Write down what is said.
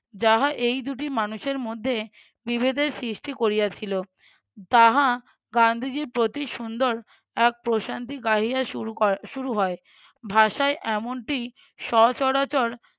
যাহা এই দুটি মানুষের মধ্যে বিভেদের সৃষ্টি করিয়াছিল। তাহা গান্ধীজীর প্রতি সুন্দর এক প্রশান্তি গাহিয়া শুরু ক~ শুরু হয়। ভাষায় এমনটি সচরাচর